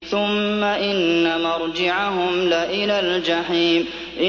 ثُمَّ إِنَّ مَرْجِعَهُمْ لَإِلَى الْجَحِيمِ